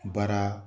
Baara